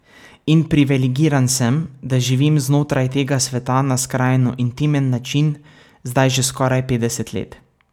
In privilegiran sem, da živim znotraj tega sveta na skrajno intimen način zdaj že skoraj petdeset let.